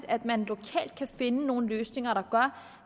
at man lokalt kan finde nogle løsninger der gør